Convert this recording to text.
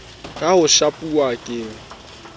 ka ho shapuwa ke e